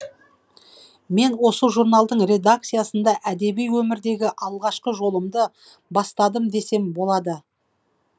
мен осы журналдың редакциясында әдеби өмірдегі алғашқы жолымды бастадым десем болады